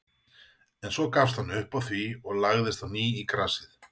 En svo gafst hann upp á því og lagðist á ný í grasið.